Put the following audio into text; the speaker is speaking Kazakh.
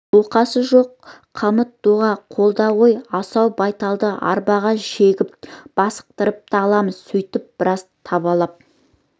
оқасы жоқ қамыт доға қолда ғой асау байталды арбаға жегіп бастықтырып та аламыз сөйтіп біраз табалап